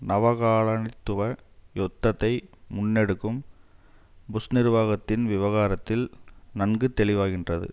நவகாலனித்துவ யுத்தத்தை முன்னெடுக்கும் புஷ் நிர்வாகத்தின் விவகாரத்தில் நன்கு தெளிவாகின்றது